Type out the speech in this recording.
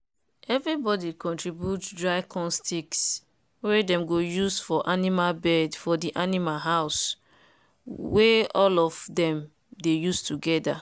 everybody contribute dry corn sticks wey dem go use for animal bed for de animal house we all of dem dey use togeda.